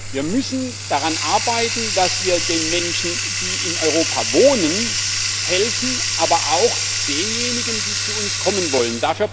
Wir müssen daran arbeiten, dass wir den Menschen, die in Europa wohnen, helfen, aber auch denjenigen, die zu uns kommen wollen.